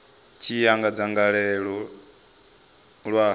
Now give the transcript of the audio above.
tshi ya nga dzangalelo ḽa